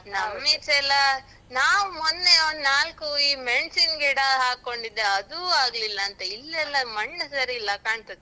ಈಚೆಯೆಲ್ಲ ನಾವ್ ಮೊನ್ನೆ ಒಂದ್ ನಾಲ್ಕು ಈ ಮೆಣ್ಸಿನ್ ಗಿಡ ಹಾಕೊಂಡಿದ್ದೆ ಅದೂ ಆಗ್ಲಿಲ್ಲ ಅಂತ. ಇಲ್ಲೆಲ್ಲ ಮಣ್ಣು ಸರಿಯಿಲ್ಲ ಕಾಣ್ತದೆ.